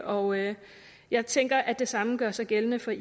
og jeg jeg tænker at det samme gør sig gældende for